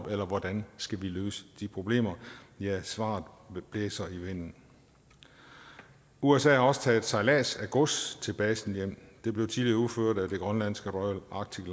eller hvordan skal vi løse de problemer ja svaret blæser i vinden usa har også taget sejlads af gods til basen hjem det blev tidligere udført af det grønlandske royal arctic